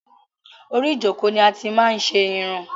Orí ìjọ́kọ̀ ni a ti máa n ṣe irun